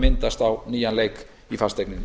myndast á nýjan leik í fasteigninni